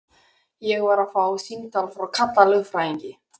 Ég var að fá símtal frá Kalla lögfræðingi.